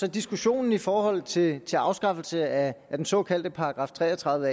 at diskussionen i forhold til til afskaffelse af den såkaldte § tre og tredive